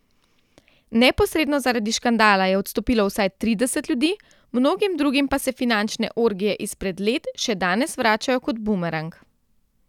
Neposredno zaradi škandala je odstopilo vsaj trideset ljudi, mnogim drugim pa se finančne orgije izpred let še danes vračajo kot bumerang.